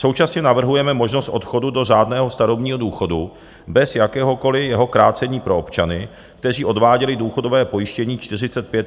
Současně navrhujeme možnost odchodu do řádného starobního důchodu bez jakéhokoliv jeho krácení pro občany, kteří odváděli důchodové pojištění 45 a více let.